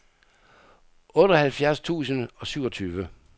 otteoghalvfjerds tusind og syvogtyve